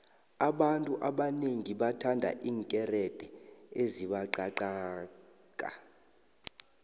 abantu abanengi bathanda iinkerede ezibangqangqaka